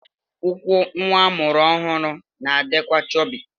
Ụkwụ nwa amụrụ ọhụrụ na-adịkwa chọbị.